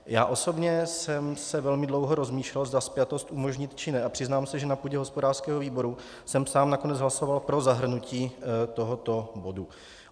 Já osobně jsem se velmi dlouho rozmýšlel, zda spjatost umožnit, či ne, a přiznám se, že na půdě hospodářského výboru jsem sám nakonec hlasoval pro zahrnutí tohoto bodu.